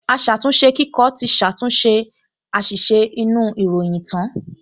Aṣàtúnṣekíkọ ti ṣàtúnṣe àṣìṣe inú ìròyìn tán